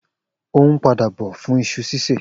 O hun pada bọ fún iṣu sise